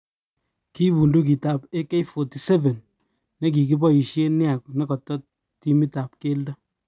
Kiy budukit ab Ak-47 nekikiboishen nia nekoto timit ab keldo.